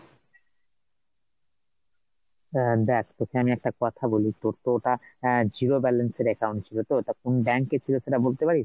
আহ দেখ তোকে আমি একটা কথা বলি, তোর তো ওটা আহ zero balance এর account ছিল তো তো কোন bank এর ছিল সেটা বলতে পারিস ?